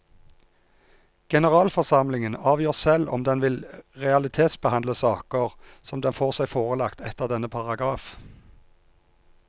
Generalforsamlingen avgjør selv om den vil realitetsbehandle saker som den får seg forelagt etter denne paragraf.